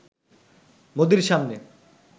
মোদির সামনে